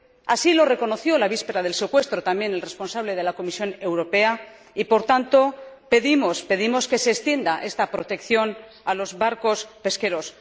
Así lo reconoció en la víspera del secuestro también el responsable de la Comisión Europea y, por tanto, pedimos que se extienda esta protección a los barcos pesqueros.